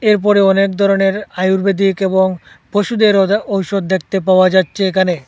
এরপরে অনেক ধরনের আয়ুর্বেদিক এবং পশুদের ঔস ঔসধ দেখতে পাওয়া যাচ্ছে এখানে।